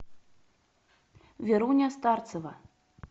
веруня старцева